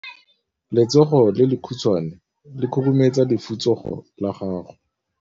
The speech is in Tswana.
Letsogo le lekhutshwane le khurumetsa lesufutsogo la gago.